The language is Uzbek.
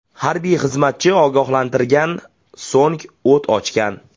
Harbiy xizmatchi ogohlantirgan, so‘ng o‘t ochgan.